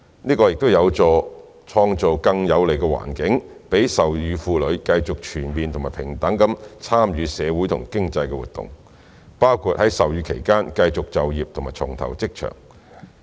這有助創造更有利的環境，讓授乳婦女繼續全面和平等地參與社會和經濟活動，包括在授乳期間持續就業或重投職場。